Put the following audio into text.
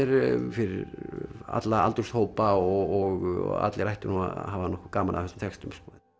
fyrir alla aldurshópa og allir ættu nú að hafa nokkuð gaman af þessum textum